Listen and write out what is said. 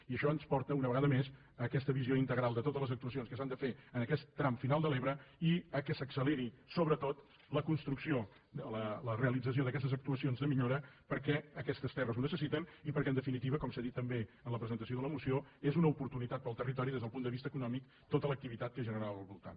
i això ens porta una vegada més a aquesta visió integral de totes les actuacions que s’han de fer en aquest tram final de l’ebre i que s’acceleri sobretot la construcció la realització d’aquestes actuacions de millora perquè aquestes terres ho necessiten i perquè en definitiva com s’ha dit també en la presentació de la moció és una oportunitat per al territori des del punt de vista econòmic tota l’activitat que es generarà al voltant